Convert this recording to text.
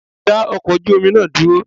Dá ọkọ̀ ojú omi náà dúró!